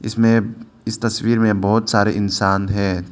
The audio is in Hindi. इसमें इस तस्वीर में बहोत सारे इंसान है।